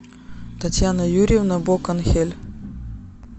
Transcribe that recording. татьяна юрьевна боканхель